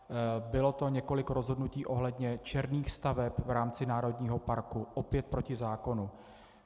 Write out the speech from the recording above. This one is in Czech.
Bylo to několik rozhodnutí ohledně černých staveb v rámci národního parku, opět proti zákonu.